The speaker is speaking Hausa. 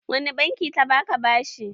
Wani banki ta ba ka bashi?